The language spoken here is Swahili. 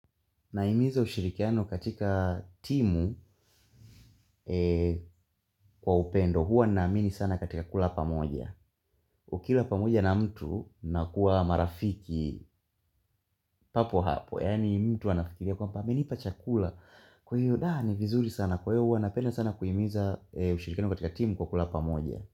Nahimiza ushirikiano katika timu kwa upendo huwa naamini sana katika kula pamoja. Ukila pamoja na mtu mnakuwa marafiki papo hapo. Yani mtu anafikiria kwamba amenipa chakula. Kwa hiyo daa ni vizuri sana kwa hiyo huwa napenda sana kuhimiza ushirikiano katika timu kwa kula pamoja.